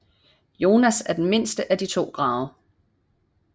Joans er den mindste af de to grave